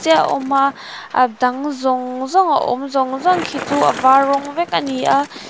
te a awm a a dang zawng zawng a awm zawng zawng khi chu a var rawng vek ani a.